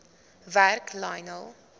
werk lionel